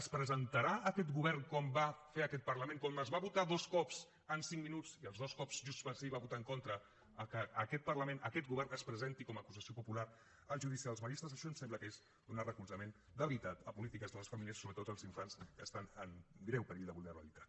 es presentarà aquest govern com va fer aquest parlament com es va votar dos cops en cinc minuts i els dos cops junts pel sí va votar hi en contra que aquest govern es presenti com acusació popular al judici dels maristes això ens sembla que és donar recolzament de veritat a polítiques de les famílies sobretot dels infants que estan en greu perill de vulnerabilitat